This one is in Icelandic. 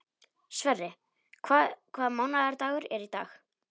Sverre, hvaða mánaðardagur er í dag?